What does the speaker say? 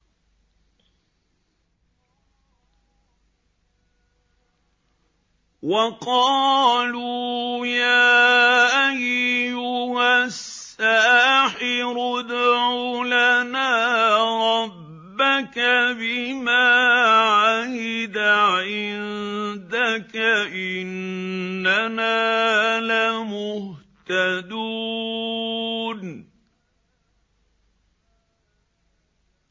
وَقَالُوا يَا أَيُّهَ السَّاحِرُ ادْعُ لَنَا رَبَّكَ بِمَا عَهِدَ عِندَكَ إِنَّنَا لَمُهْتَدُونَ